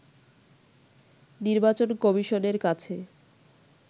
নির্বাচন কমিশনের কাছে